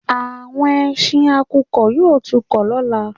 Àwọn ẹsin àkùkọ yóò tún kọ lọ́la